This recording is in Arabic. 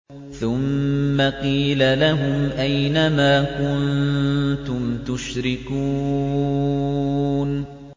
ثُمَّ قِيلَ لَهُمْ أَيْنَ مَا كُنتُمْ تُشْرِكُونَ